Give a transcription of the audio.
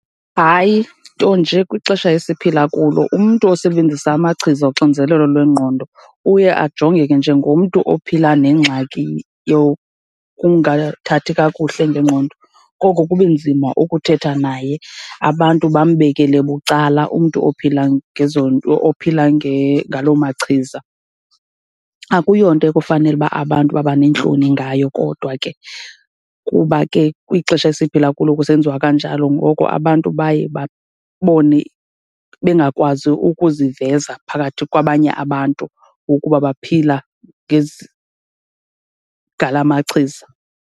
Hayi, nto nje kwixesha esiphila kulo umntu osebenzisa amachiza oxinzelelo lwengqondo uye ajongeke njengomntu ophila nengxaki yokungathathi kakuhle ngengqondo, koko kube nzima ukuthetha naye, abantu bambekele bucala umntu ophila ngezo nto, ophila ngaloo machiza. Akuyonto ekufanele uba abantu babaneentloni ngayo kodwa ke kuba ke kwixesha esiphila kulo kusenziwa kanjalo, ngoko abantu baye babone bengakwazi ukuziveza phakathi kwabanye abantu ukuba baphila ngezi, ngala machiza.